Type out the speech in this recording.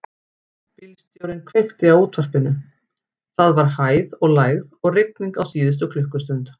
Bílstjórinn kveikti á útvarpinu: það var hæð og lægð og rigning á síðustu klukkustund.